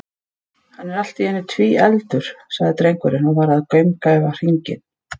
Hann er allt í einu tvíefldur, sagði drengurinn og var að gaumgæfa hringinn.